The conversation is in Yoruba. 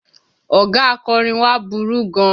Ọ̀gá akọ́rin wa burú gan.